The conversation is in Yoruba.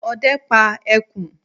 Ọdẹ pá ẹkùn.